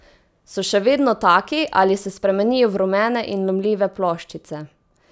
So še vedno taki ali se spremenijo v rumene in lomljive ploščice?